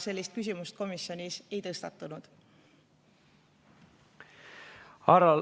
Sellist küsimust komisjonis ei tõstatatud.